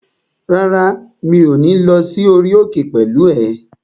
Rárá, mi ò ní lọ sí orí òkè pẹ̀lú ẹ